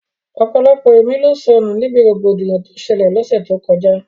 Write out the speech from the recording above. Ọ̀pọ̀lọpọ̀ ẹ̀mí ló sọnù níbi rògbòdìyàn tó ṣẹlẹ̀ l'ọ́ṣẹ́ tó kọjá